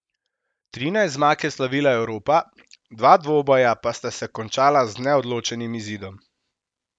Trinajst zmag je slavila Evropa, dva dvoboja pa sta se končala z neodločenim izidom.